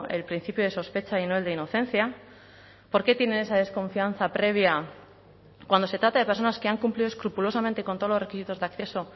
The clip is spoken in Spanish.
el principio de sospecha y no el de inocencia por qué tienen esa desconfianza previa cuando se trata de personas que han cumplido escrupulosamente con todos los requisitos de acceso